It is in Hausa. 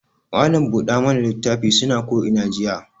Mallam buɗa mana litafin suna ko ina jiya.